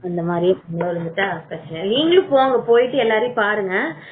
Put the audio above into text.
அந்த மாதிரி தப்பிச்சிட்டா பிரச்சனை இல்லை நீங்களும் போங்க போயிட்டு எல்லாத்தையும் பாருங்க